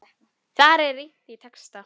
Þar er rýnt í texta.